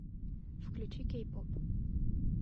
включи кей поп